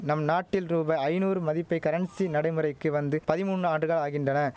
நம் நாட்டில் ரூபாய் ஐநூறு மதிப்பை கரன்சி நடைமுறைக்கு வந்து பதிமூன் ஆண்டுக ஆகின்டன